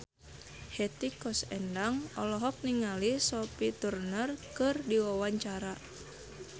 Hetty Koes Endang olohok ningali Sophie Turner keur diwawancara